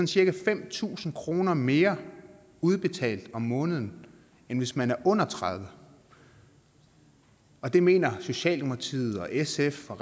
cirka fem tusind kroner mere udbetalt om måneden end hvis man er under tredive år og det mener socialdemokratiet og sf og